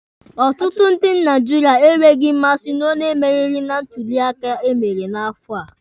Ọtụtụ ndị Naijiria enweghị mmasị na onye meriri na ntuli aka emere n'afọ a.